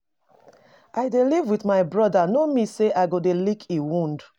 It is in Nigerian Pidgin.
I dey live with my brother no mean say I go dey lick im wound